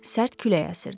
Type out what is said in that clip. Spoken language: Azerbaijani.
Sərt külək əsirdi.